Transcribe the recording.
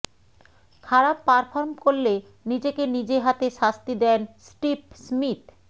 খারাপ পারফর্ম করলে নিজেকে নিজে হাতে শাস্তি দেন স্টিভ স্মিথ